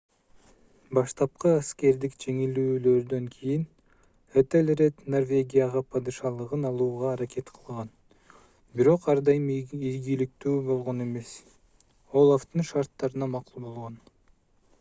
баштапкы аскердик жеңилүүлөрдөн кийин этелред норвегияга падышалыгын алууга аракет кылган бирок ар дайым ийгиликтүү болгон эмес олафтын шарттарына макул болгон